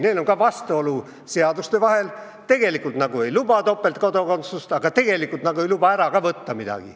Neil on ka vastuolu seaduste vahel – tegelikult nagu ei lubata topeltkodakondsust, aga kodakondsust ei saa ka ära võtta.